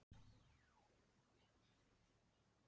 Jóhann: Einhver slys á fólki?